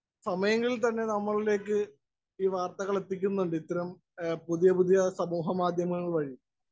Speaker 1 സമയങ്ങളില്‍ തന്നെ നമ്മളിലേക്ക് ഈ വാര്‍ത്തകള്‍ എത്തിക്കുന്നുണ്ട് ഇത്തരം പുതിയ പുതിയ സമൂഹ മാധ്യമങ്ങള്‍ വഴി.